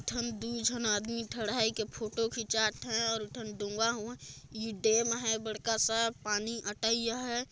ठन दु झन आदमी ठड़ हाई के फोटो खिचात हैं और एक ठन डोंगा हों ई डैम बड़का सा पानी अटई हैं।